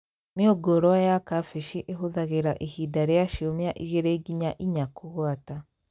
Mĩũngũrwa ya kambĩji ĩhũthagĩra ihinda rĩa ciumia igĩrĩ nginya inya kũgwata